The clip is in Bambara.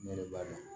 Ne yɛrɛ b'a dɔn